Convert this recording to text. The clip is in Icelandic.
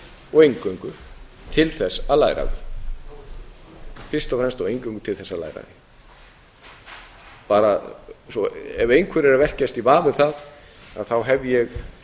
og eingöngu til þess að læra af því ef einhverjir eru að velkjast í vafa um það hef ég